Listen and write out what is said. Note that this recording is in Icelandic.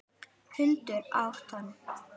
Hundur át hann.